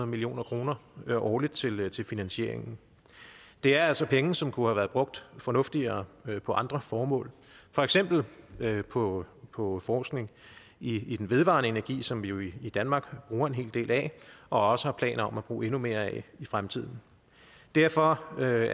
million kroner årligt til til finansieringen det er altså penge som kunne have været brugt fornuftigere på andre formål for eksempel på på forskning i den vedvarende energi som vi jo i danmark bruger en hel del af og også har planer om at bruge endnu mere af i fremtiden derfor vil